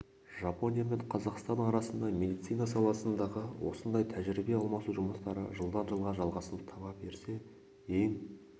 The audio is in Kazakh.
жапония мен қазақстан арасында медицина саласындағы осындай тәжірибе алмасу жұмыстары жылдан жылға жалғасын таба берсе ең